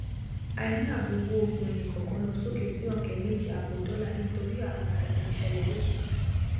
àìní ààbò owó oògùn ẹnìkọọkan lọ sókè sí ọkẹ méjì àbọ dollar nítorí àrùn ọkàn tó ń ṣẹlẹ lójijì